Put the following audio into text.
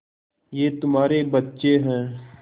ये तुम्हारे बच्चे हैं